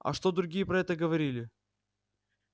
а что другие про это говорили